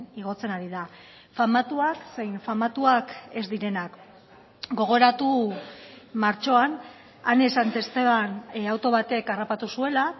igotzen ari da famatuak zein famatuak ez direnak gogoratu martxoan ane santesteban auto batek harrapatu zuela